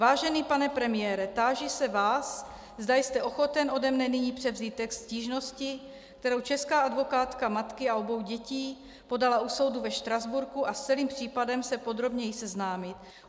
Vážený pane premiére, táži se vás, zda jste ochoten ode mne nyní převzít text stížnosti, kterou česká advokátka matky a obou dětí podala u soudu ve Štrasburku, a s celým případem se podrobněji seznámit.